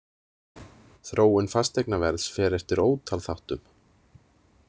Þróun fasteignaverðs fer eftir ótal þáttum.